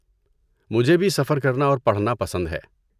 مجھے بھی سفر کرنا اور پڑھنا پسند ہے۔